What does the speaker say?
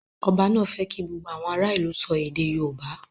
Ọba náà fẹ́ kí gbogbo àwọn ará ìlú sọ èdè yóòbá